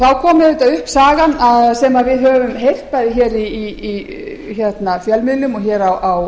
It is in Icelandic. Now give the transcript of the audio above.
þá kom auðvitað upp sagan sem við höfum heyrt bæði í fjölmiðlum og hér á